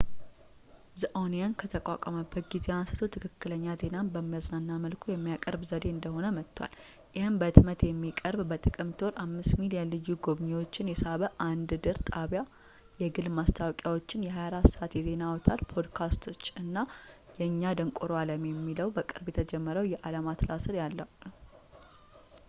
the onion ከተቋቋመበት ጊዜ አንስቶ ፣ ትክክለኛ ዜናን በሚያዝናና መልኩ የሚያቀርብ ዘዴ እየሆነ መጥቷል ፣ ይህም በሕትመት የሚቀርብ፣ በጥቅምት ወር 5,000,000 ልዩ ጎብኚዎችን የሳበ አንድ ድር ጣቢያ ፣ የግል ማስታወቂያዎች ፣ የ 24 ሰዓት የዜና አውታር ፣ ፖድካስቶች እና የእኛ ደንቆሮ ዓለም የሚባለው በቅርቡ የተጀመረው የዓለም አትላስ ያለው ነው